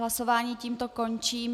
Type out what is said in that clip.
Hlasování tímto končím.